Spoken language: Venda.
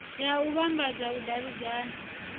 ya u vhambadza u davhidzana